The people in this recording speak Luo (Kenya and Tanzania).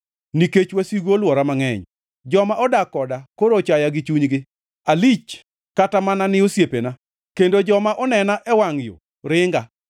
Nikech wasigu olwora mangʼeny, joma odak koda koro ochaya gi chunygi; alich kata mana ni osiepena kendo joma onena e wangʼ yo ringa.